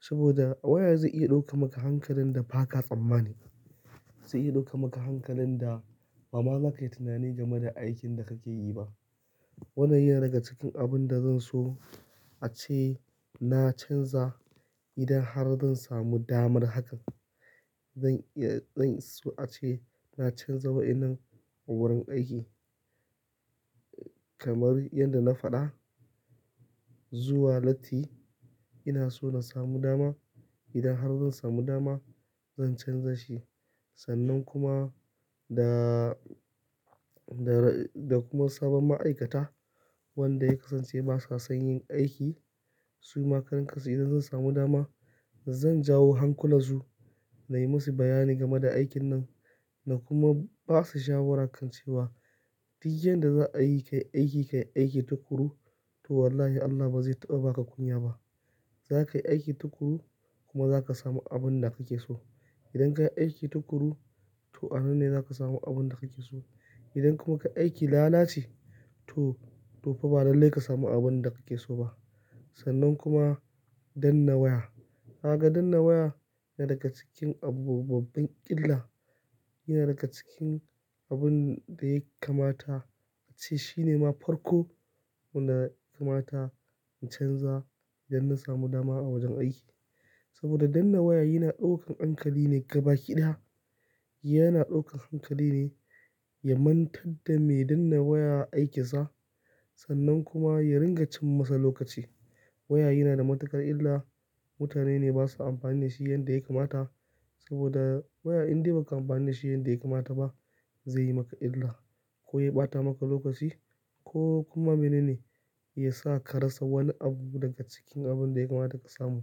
saboda waya zai iya ɗauka maka hankalin da ba ka tsammani. Zai iya ɗauka maka hankalin da ba ma za ka yi tunani game da aikin da ka ke yi ba. Wannan yana daga cikin abun da zan so a ce na canza idan har zan samu damar hakan. Zan iya, zan so a ce na canza wa'innan a wurin aiki kamar yadda na faɗa zuwa latti. Ina so na samu dama. Idan har zan samu dama zan canza shi. Sannan kuma da, da, da kuma sabon ma'aikata wanda ya kasance ba sa son yin aiki. Su ma karan kansu idan zan samu dama zan jawo hankula su na yi musu bayani game da aikin nan na kuma ba su shawara kan cewa duk yadda za a yi ka yi aiki, ka yi aiki tuƙuru to wallahi Allah ba zai taɓa ba ka kunya ba. Za ka yi aiki tuƙuru kuma za ka samu abun da kake so. Idan ka yi aiki tuƙuru to anan ne za ka samu abun da kake so. Idan kuma ka yi aikin lalaci to tofa ba lallai ka samu abun da kake so ba. Sannan kuma danna waya. Na ga danna waya yana daga cikin abu mai babban iilla. Yana daga cikin abun da ya kamata a ce shi ne ma farko wanda ya kamata in canza idan na samu dama a wajen aiki. Saboda danna waya yana ɗaukan hankali ne gabaki ɗaya. Yana ɗaukan hankali ne ya mantar da me danna waya aikinsa. Sannan kuma ya ringa cin masa lokaci. Waya yana da matuƙar illa. Mutane ne basa amfani da shi yanda ya kamata saboda waya indai muka amfani da shi yanda ya kamata ba zai yi maka illa ko ya ɓata maka lokaci ko kuma mene ne ya sa ka rasa wani abu daga cikin abun da ya kamata ka samu.